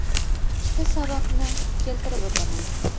Ikkita sababni keltirib o‘taman.